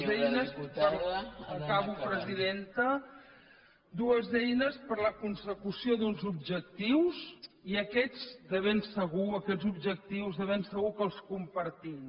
eines acabo presidenta dues eines per a la consecució d’uns objectius i aquests objectius de ben segur que els compartim